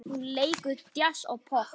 Hún leikur djass og popp.